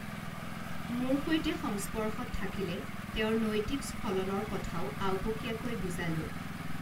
মোৰ সৈতে সংস্পৰ্শত থাকিলে তেঁওৰ নৈতিক স্খলনৰ কথাও আওঁপকীয়াকৈ বুজালো